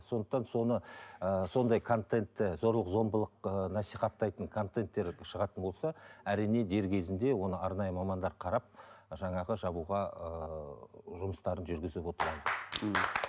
сондықтан соны ыыы сондай контентті зорлық зомбылық ыыы насихаттайтын контенттер шығатын болса әрине дер кезінде оны арнайы мамандар қарап жаңағы жабуға ыыы жұмыстарын жүргізіп отырады